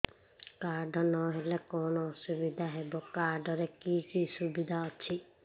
card ନହେଲେ କଣ ଅସୁବିଧା ହେବ କାର୍ଡ ରେ କି କି ସୁବିଧା ଅଛି